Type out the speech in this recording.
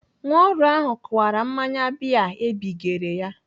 Nwa ọrụ ahụ kụwara mmanya bịa ebigere ya.